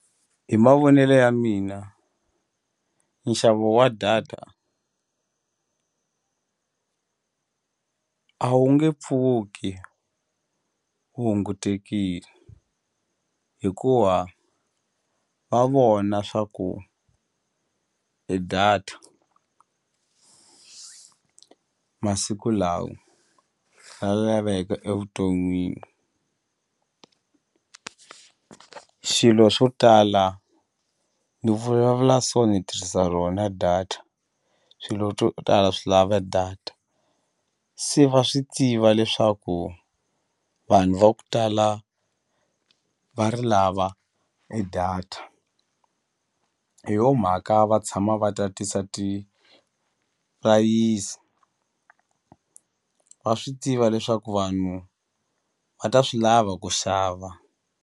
Hi mavonelo ya mina nxavo wa data a wu nge pfuki wu hungutekile hikuva va vona swa ku e data masiku lawa ra laveka evuton'wini xilo swo tala ni vulavula ni tirhisa rona data swilo swo tala swi lava data se va swi tiva leswaku vanhu va ku tala va ri lava e data hi yo mhaka va tshama va tatisa ti-price va swi tiva leswaku vanhu va ta swi lava ku xava.